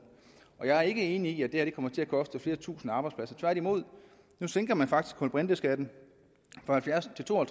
jeg er ikke enig i at det her kommer til at koste flere tusinde arbejdspladser tværtimod nu sænker man faktisk kulbrinteskatten fra halvfjerds til to og